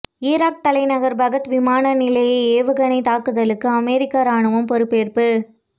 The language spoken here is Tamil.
ஈராக் தலைநகர் பாக்தாக் விமான நிலைய ஏவுகணை தாக்குதலுக்கு அமெரிக்க ராணுவம் பொறுப்பேற்பு